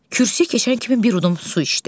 Kürsüyə keçən kimi bir udum su içdi.